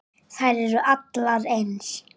Þær eru allar eins.